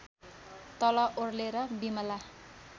तल ओर्लेर बिमला